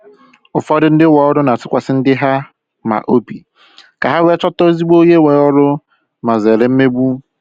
Ụfọdụ ndị ọrụ na-atụkwasị ndi ha ma obi ka ha wee chọta ezigbo onye nwe oru ma zere mmegbu